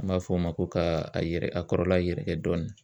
An b'a fɔ o ma ko ka a yɛrɛ a kɔrɔla yɛrɛkɛ dɔɔni.